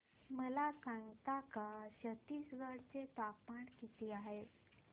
मला सांगता का छत्तीसगढ चे तापमान किती आहे